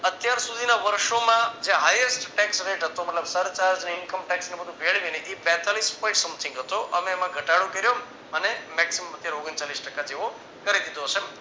અત્યાર સુધીના વર્ષોમાં જે hightesttax ret હતો મતલબ સરચાર્જ ને income tax ને એવું ભેળવીને એ બેતાલીશ point something હતો. અમે એમાં ઘટાડો કર્યો અને maximum અત્યારે ઓગણચાલીસ ટકા જેવો કરી દીધો છે.